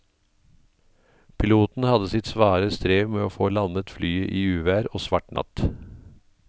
Piloten hadde sitt svare strev med å få landet flyet i uvær og svart natt.